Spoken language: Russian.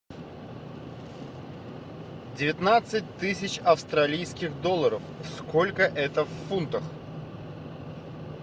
девятнадцать тысяч австралийских долларов сколько это в фунтах